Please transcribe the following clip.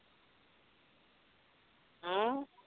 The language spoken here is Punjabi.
ਹਮ